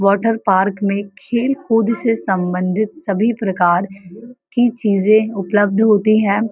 Water park में खेल-कूद से सम्बन्धित सभी प्रकार की चीजे उपलब्ध होती हैं।